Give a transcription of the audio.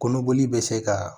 Kɔnɔboli bɛ se ka